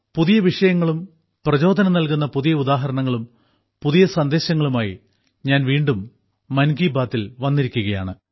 പുതിയ വിഷയങ്ങളും പ്രചോദനം നൽകുന്ന പുതിയ ഉദാഹരണങ്ങളും പുതിയ സന്ദേശങ്ങളുമായി ഞാൻ വീണ്ടും മൻ കി ബാത്തിൽ വന്നിരിക്കുകയാണ്